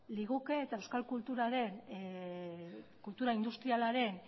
liguke eta euskal kultura industrialaren